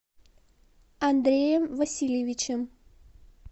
андреем васильевичем